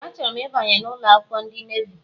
Ee achoro m ịbanye n' ụlọakwụkwọ ndị navi.